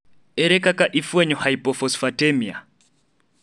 ere kaka ifwenyo hypophosphatemia?